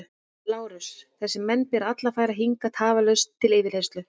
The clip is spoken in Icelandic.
LÁRUS: Þessa menn ber alla að færa hingað tafarlaust til yfirheyrslu.